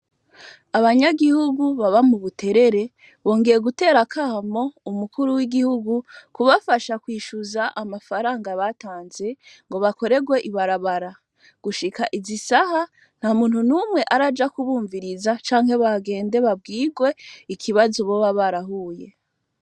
Abanyagihugu baba mu buterere bongeye gutera kamo umukuru w'igihugu kubafasha kwishuza amafaranga batanze ngo bakorerwe ibarabara gushika izisaha nta muntu n'umwe araja kubumviriza canke bagende babwirwe ikibazo bo ba barahuye.